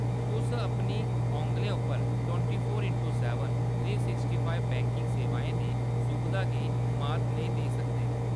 तुस अपनी औंगलें पर twenty four into seven, three sixty five banking सेवाएं दी सुबधा गी मात नेईं देई सकदे।